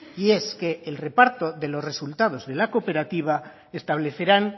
y es que el reparto de los resultados de la cooperativa establecerán